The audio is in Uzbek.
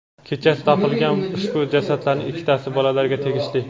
kechasi topilgan ushbu jasadlarning ikkitasi bolalarga tegishli.